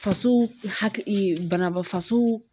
Faso faso